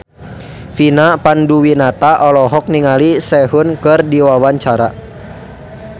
Vina Panduwinata olohok ningali Sehun keur diwawancara